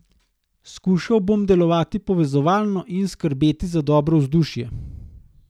Skušal bom delovati povezovalno in skrbeti za dobro vzdušje.